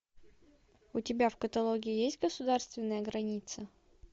у тебя в каталоге есть государственная граница